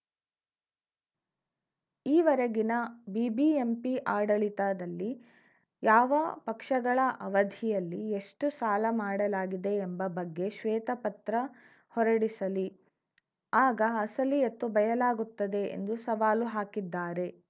ಈ ವರೆಗಿನ ಬಿಬಿಎಂಪಿ ಆಡಳಿತದಲ್ಲಿ ಯಾವ ಪಕ್ಷಗಳ ಅವಧಿಯಲ್ಲಿ ಎಷ್ಟುಸಾಲ ಮಾಡಲಾಗಿದೆ ಎಂಬ ಬಗ್ಗೆ ಶ್ವೇತಪತ್ರ ಹೊರಡಿಸಲಿ ಆಗ ಅಸಲಿಯತ್ತು ಬಯಲಾಗುತ್ತದೆ ಎಂದು ಸವಾಲು ಹಾಕಿದ್ದಾರೆ